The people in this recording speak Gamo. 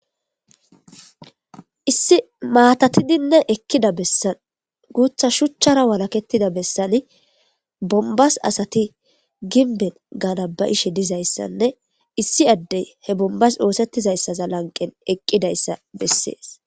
issi maatatidinne ekkida bessan guutha shuchchara walaketida bessani bombas asati ginben ganabayishe dizayssanne issi addey he bombas oosettizayssaza lanqen eqqidayssa bessees